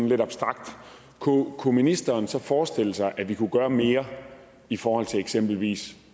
lidt abstrakt kunne ministeren så forestille sig at vi kunne gøre mere i forhold til eksempelvis